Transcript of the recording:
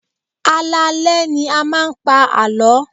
Alaalẹ́ ni a máa ń pa àlọ́.